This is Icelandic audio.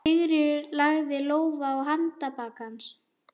Sigríður lagði lófa á handarbak hans.